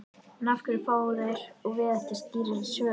En af hverju fá þeir og við ekki skýrari svör?